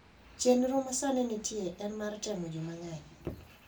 Chenro ma sani nitie en mar temo ji mang’eny.